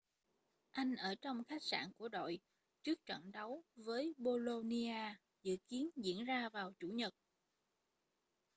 anh ở trong khách sạn của đội trước trận đấu với bolonia dự kiến diễn ra vào chủ nhật